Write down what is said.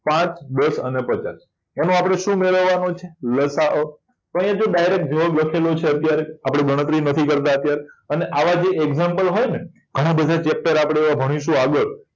પાચ દસ અને પચાસ એનો આપણે શું મેળવવાનો છે લસાઅ તો અહીંયા જો direct જવાબ લખ્યો છે અત્યારે આપણે ગણતરી નથી કરતા અત્યાર અને આવા જે example હોય ને ઘણા બધા chapter ભણીશું આપણે આગળ